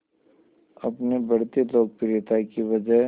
अपनी बढ़ती लोकप्रियता की वजह